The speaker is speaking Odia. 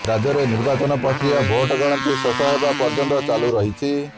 ରାଜ୍ୟରେ ନିର୍ବାଚନ ପ୍ରକ୍ରିୟା ଭୋଟଗଣତି ଶେଷ ହେବା ପର୍ଯ୍ୟନ୍ତ ଚାଲୁ ରହିଛି